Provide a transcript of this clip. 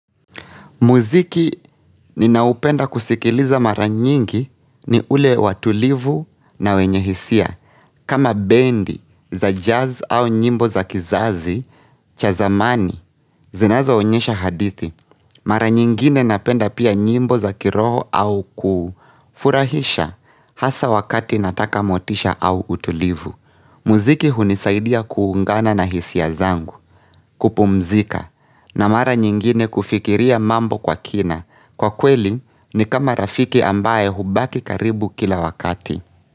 Muziki ninaupenda kusikiliza mara nyingi ni ule watulivu na wenye hisia. Kama bendi za jazz au nyimbo za kizazi, cha zamani, zinazoonyesha hadithi. Mara nyingine napenda pia nyimbo za kiroho au kufurahisha hasa wakati nataka motisha au utulivu. Muziki hunisaidia kuungana na hisia zangu, kupumzika, na mara nyingine kufikiria mambo kwa kina. Kwa kweli ni kama rafiki ambaye hubaki karibu kila wakati.